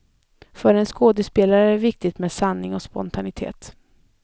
För en skådespelare är det viktigt med sanning och spontanitet.